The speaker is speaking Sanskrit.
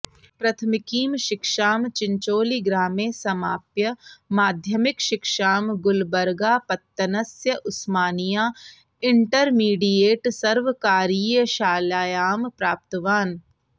प्रथमिकीं शिक्षां चिञ्चोळीग्रामे समाप्य माध्यमिकशिक्षां गुल्बर्गापत्तनस्य उस्मानिया इण्टर्मिडियेट् सर्वकारीयशालायां प्राप्तवान्